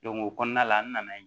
o kɔnɔna la an nana ye